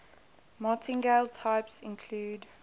martingale types include